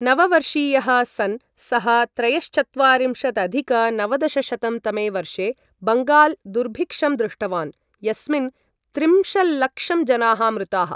नववर्षीयः सन् सः त्रयश्चत्वारिंशदधिक नवदशशतं तमे वर्षे बङ्गाल दुर्भिक्षं दृष्टवान्, यस्मिन् त्रिंशल्लक्षं जनाः मृताः।